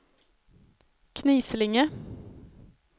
Knislinge